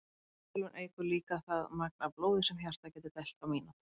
Þolþjálfun eykur líka það magn af blóði sem hjartað getur dælt á mínútu.